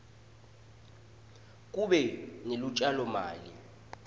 kube nelutjalo mali